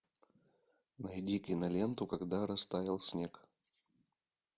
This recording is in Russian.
найди киноленту когда растаял снег